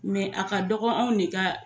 a ka dɔgɔn anw de ka